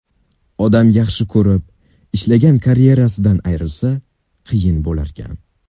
Odam yaxshi ko‘rib, ishlagan karyerasidan ayrilsa, qiyin bo‘larkan.